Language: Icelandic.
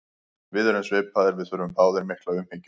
Við erum svipaðir, við þurfum báðir mikla umhyggju.